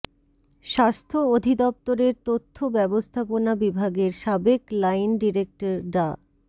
স্বাস্থ্য অধিদপ্তরের তথ্য ব্যবস্থাপনা বিভাগের সাবেক লাইন ডিরেক্টর ডা